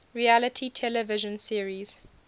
reality television series